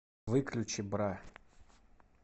выключи бра